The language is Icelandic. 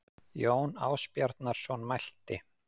Jón Ásbjarnarson mælti